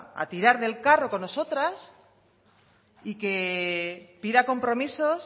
a tirar del carro con nosotras y que pida compromisos